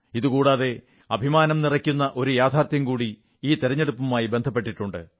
ഇതുകൂടാതെ അഭിമാനം നിറയ്ക്കുന്ന ഒരു യാഥാർഥ്യം കൂടി ഈ തിരഞ്ഞെടുപ്പുമായി ബന്ധപ്പെട്ടിട്ടുണ്ട്